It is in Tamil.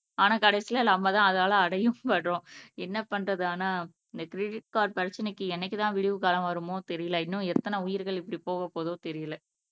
ஆனா கடைசியில நம்மதான் அதால படறோம் என்ன பண்றது ஆனா இந்த கிரெடிட் கார்டு பிரச்சனைக்கு என்னைக்குதான் விடிவு காலம் வருமோ தெரியலே இன்னும் எத்தனை உயிர்கள் இப்படி போகப் போகுதோ தெரியலே